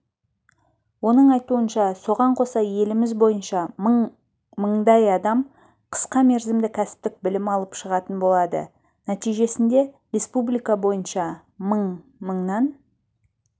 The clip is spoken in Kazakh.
оның айтуынша соған қоса еліміз бойынша мың мыңдай адам қысқа мерзімді кәсіптік білім алып шығатын болады нәтижесінде республика бойынша мың мыңнан